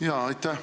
Aitäh!